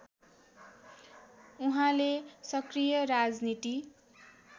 उहाँले सक्रिय राजनीति